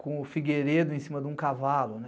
com o Figueiredo em cima de um cavalo, né?